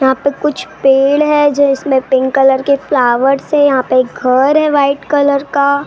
यहाँ पे कुछ पेड़ है जो इसमें पिंक कलर के फ्लावर्स है यहाँ पे घर है वाइट कलर का।